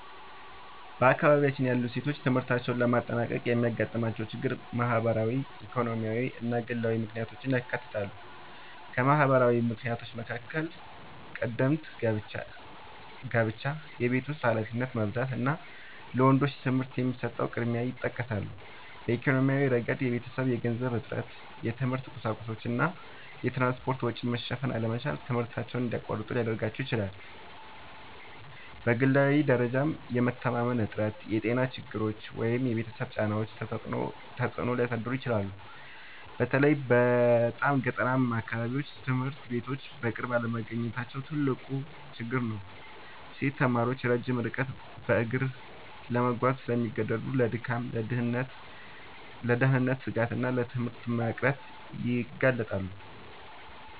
በአካባቢያችን ያሉ ሴቶች ትምህርታቸውን ለማጠናቀቅ የሚያጋጥሟቸው ችግሮች ማህበራዊ፣ ኢኮኖሚያዊ እና ግላዊ ምክንያቶችን ያካትታሉ። ከማህበራዊ ምክንያቶች መካከል ቀደምት ጋብቻ፣ የቤት ውስጥ ኃላፊነት መብዛት እና ለወንዶች ትምህርት የሚሰጠው ቅድሚያ ይጠቀሳሉ። በኢኮኖሚያዊ ረገድ የቤተሰብ የገንዘብ እጥረት፣ የትምህርት ቁሳቁሶች እና የትራንስፖርት ወጪ መሸፈን አለመቻል ትምህርታቸውን እንዲያቋርጡ ሊያደርጋቸው ይችላል። በግላዊ ደረጃም የመተማመን እጥረት፣ የጤና ችግሮች ወይም የቤተሰብ ጫናዎች ተጽዕኖ ሊያሳድሩ ይችላሉ። በተለይ በጣም ገጠራማ አካባቢዎች ትምህርት ቤቶች በቅርብ አለመገኘታቸው ትልቅ ችግር ነው። ሴት ተማሪዎች ረጅም ርቀት በእግር ለመጓዝ ስለሚገደዱ ለድካም፣ ለደህንነት ስጋት እና ለትምህርት መቅረት ይጋለጣሉ